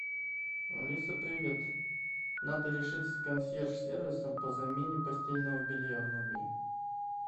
алиса привет надо решить с консьерж сервисом по замене постельного белья в номере